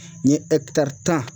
N ye tan